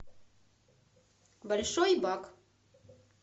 большой бак